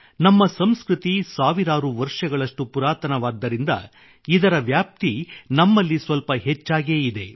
ನಮ್ಮ ಸಂಸ್ಕೃತಿ ಸಾವಿರಾರು ವರ್ಷಗಳಷ್ಟು ಪುರಾತನವಾದ್ದರಿಂದ ಇದರ ವ್ಯಾಪ್ತಿ ನಮ್ಮಲ್ಲಿ ಸ್ವಲ್ಪ ಹೆಚ್ಚಾಗೇ ಇದೆ